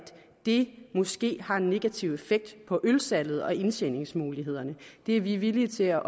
det måske har en negativ effekt på ølsalget og indtjeningsmulighederne det er vi villige til at